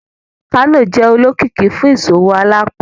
Kano jẹ olokiki fun iṣowo alaapọn